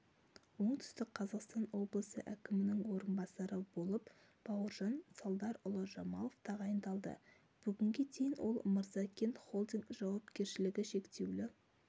оңтүстік қазақстан облысы әкімінің орынбасары болып бауыржан салдарұлы жамалов тағайындалды бүгінге дейін ол мырзакент-холдинг жауапкершілігі шектеулі